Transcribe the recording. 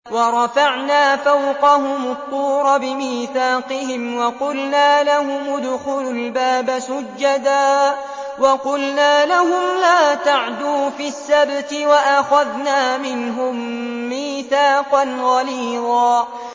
وَرَفَعْنَا فَوْقَهُمُ الطُّورَ بِمِيثَاقِهِمْ وَقُلْنَا لَهُمُ ادْخُلُوا الْبَابَ سُجَّدًا وَقُلْنَا لَهُمْ لَا تَعْدُوا فِي السَّبْتِ وَأَخَذْنَا مِنْهُم مِّيثَاقًا غَلِيظًا